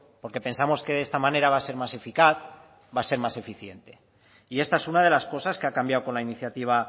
porque pensamos que de esta manera va a ser más eficaz va a ser más eficiente y esta es una de las cosas que ha cambiado con la iniciativa